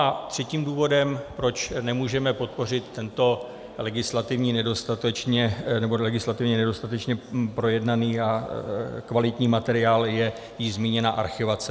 A třetím důvodem, proč nemůžeme podpořit tento legislativně nedostatečně projednaný a kvalitní materiál, je již zmíněná archivace.